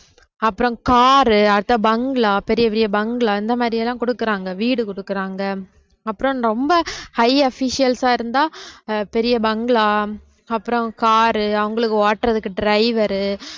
அப்புறம் car உ அடுத்த bungalow பெரிய பெரிய bungalow இந்த மாதிரி எல்லாம் கொடுக்குறாங்க வீடு கொடுக்குறாங்க அப்புறம் ரொம்ப high officials ஆ இருந்தா பெரிய bungalow அப்புறம் car அவங்களுக்கு ஓட்டுறதுக்கு driver உ